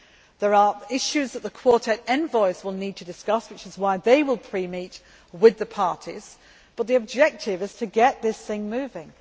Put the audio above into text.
There are issues that the Quartet envoys will need to discuss, which is why they will pre meet with the parties, but the objective is to get this thing moving.